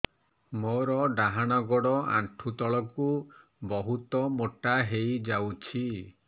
ମୋର ଡାହାଣ ଗୋଡ଼ ଆଣ୍ଠୁ ତଳକୁ ବହୁତ ମୋଟା ହେଇଯାଉଛି